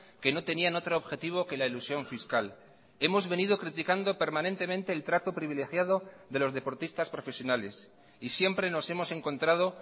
que no tenían otro objetivo que la elusión fiscal hemos venido criticando permanentemente el trato privilegiado de los deportistas profesionales y siempre nos hemos encontrado